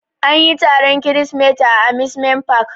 Anyi taron kirisimeti a amusement park.